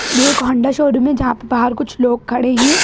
ये एक Honda showroom है जहाँ पे बाहर कुछ लोग खड़े हैं।